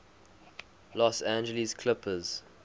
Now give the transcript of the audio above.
los angeles clippers